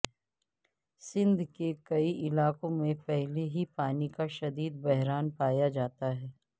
سندھ کے کئی علاقوں میں پہلے ہی پانی کا شدید بحران پایا جاتا ہے